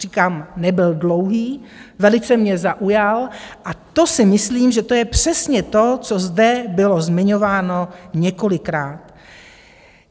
Říkám, nebyl dlouhý, velice mě zaujal, a to si myslím, že to je přesně to, co zde bylo zmiňováno několikrát.